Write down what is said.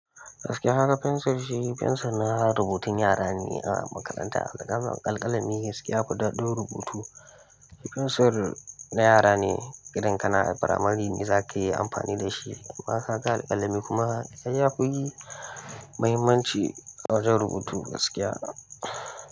Gaskiya kaga fensir shi fensir na rubutun yara ne a makaranta. Alƙalami gaskiya yafi dadin rubutu. Fensir na yara ne, irin kana firamari ne za ka yi amfani da shi. Amma ka ga alƙalami kuma, ai ya fi fi muhimmanci wajen rubutu gaskiya.